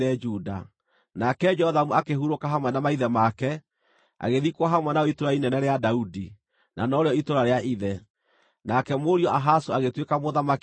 Nake Jothamu akĩhurũka hamwe na maithe make, agĩthikwo hamwe nao itũũra inene rĩa Daudi, na norĩo itũũra rĩa ithe. Nake mũriũ Ahazu agĩtuĩka mũthamaki ithenya rĩake.